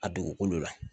A dugukolo la